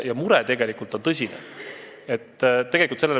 Aga mure on tegelikult tõsine.